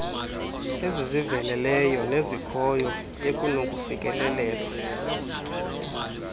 eziziveleleyo nezikhoyo ekunokufikelelwa